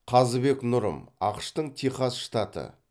қазыбек нұрым ақш тың техас штаты